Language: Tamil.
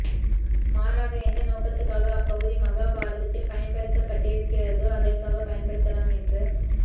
மாறாக எந்த நோக்கத்துக்காக அப்பகுதி மகாபாரதத்தில் பயன்படுத்தப்பட்டிருக்கிறதோ அதற்காகப் பயன்படுத்தலாம் என்று